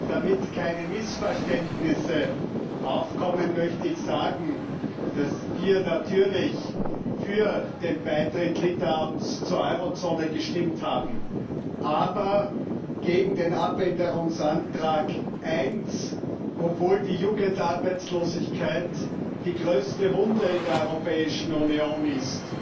Damit keine Missverständnisse aufkommen, möchte ich sagen, dass wir natürlich für den Beitritt Litauens zur Euro Zone gestimmt haben, aber gegen Änderungsantrag 1, obwohl die Jugendarbeitslosigkeit die größte Wunde in der Europäischen Union ist